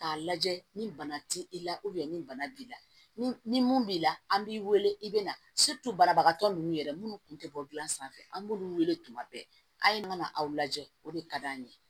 K'a lajɛ ni bana t'i la ni bana b'i la ni mun b'i la an b'i wele i be na banabagatɔ nunnu yɛrɛ munnu kun tɛ bɔ a sanfɛ an b'olu weele tuma bɛɛ a ye mana aw lajɛ o de ka d'an ye